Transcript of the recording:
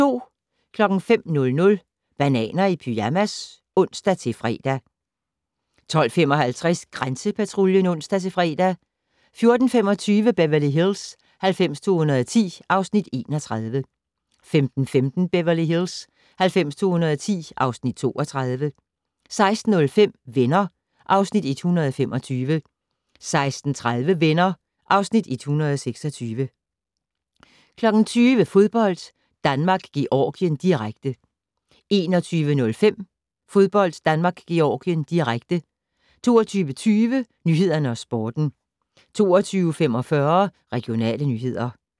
05:00: Bananer i pyjamas (ons-fre) 12:55: Grænsepatruljen (ons-fre) 14:25: Beverly Hills 90210 (Afs. 31) 15:15: Beverly Hills 90210 (Afs. 32) 16:05: Venner (Afs. 125) 16:30: Venner (Afs. 126) 20:00: Fodbold: Danmark-Georgien, direkte 21:05: Fodbold: Danmark-Georgien, direkte 22:20: Nyhederne og Sporten 22:45: Regionale nyheder